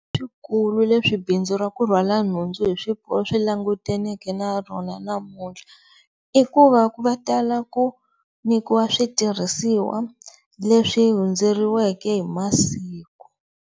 Swi kulu leswi bindzu ra ku rhwala nhundzu hi swi languteneke na rona namuntlha i ku va va tala ku nyikiwa switirhisiwa leswi hundzeriweke hi masiku.